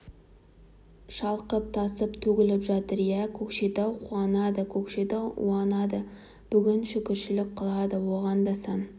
шалқып тасып төгіліп жатыр иә көкшетау қуанады көкшетау уанады бүгін шүкіршілік қылады оған да сан